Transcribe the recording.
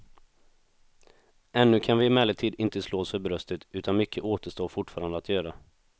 Ännu kan vi emellertid inte slå oss för bröstet utan mycket återstår fortfarande att göra.